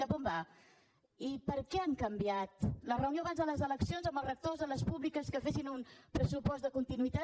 cap a on va i per què han canviat la reunió abans de les eleccions amb els rectors de les públiques que fessin un pressupost de continuïtat